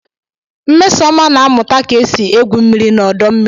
Nmesoma na-amụta ka esi egwu mmiri na ọdọ mmiri.